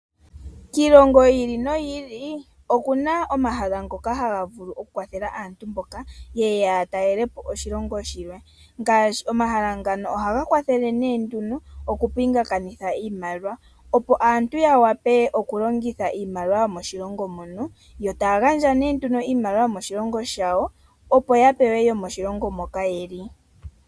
Kiilongo yi ili noyi ili oku na omahala ngoka haga vulu okukwathela aantu mboka ye ye ya talele po oshilongo shilwe. Omahala ngano ohaga kwathele nee nduno okupingakanitha iimaliwa, opo aantu ya wape okulongitha iimaliwa yomoshilongo mo. Ohaa gandja nduno iimaliwa yokoshilongo shawo, opo ya pewe yomoshilongo moka ye li.